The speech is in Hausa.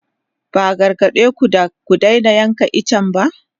Ba a gargade ku da ku daina yanke itacen ba?